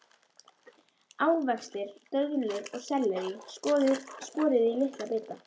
Ávextir, döðlur og sellerí skorið í litla bita.